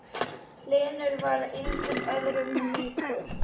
Hlynur var engum öðrum líkur.